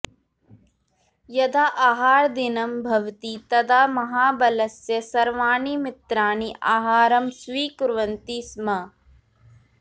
यदा आहारदिनं भवति तदा महाबलस्य सर्वाणि मित्राणि आहारं स्वीकुर्वन्ति स्म